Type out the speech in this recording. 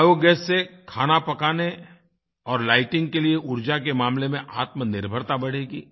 biogas से खाना पकाने और लाइटिंग के लिए ऊर्जा के मामले में आत्मनिर्भरता बढ़ेगी